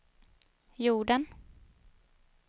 jorden